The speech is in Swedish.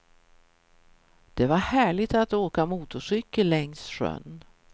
Det var härligt att åka motorcykel längst sjön.